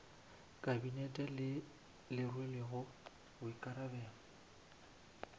kabinete le le rwelego boikarabelo